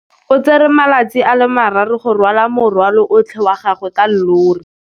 O tsere malatsi a le marraro go rwala morwalo otlhe wa gagwe ka llori.